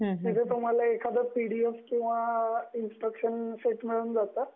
तिथे तुम्हाला एखादा पीडीएफ किंवा इन्स्ट्रक्शन्सचं शीट मिळून जातं.